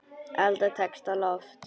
Alda tekst á loft.